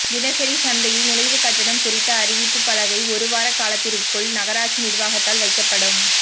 தினசரி சந்தையில் நுழைவுக் கட்டணம் குறித்த அறிவிப்புப் பலகை ஒரு வார காலத்திற்குள் நகராட்சி நிா்வாகத்தால் வைக்கப்படும்